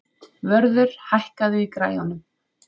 Vörður, hækkaðu í græjunum.